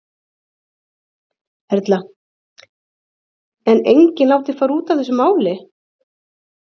Erla: En enginn látinn fara út af þessu máli?